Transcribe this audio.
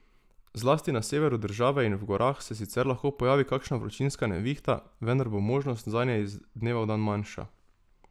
Zlasti na severu države in v gorah se sicer lahko pojavi kakšna vročinska nevihta, vendar bo možnost zanje iz dneva v dan manjša.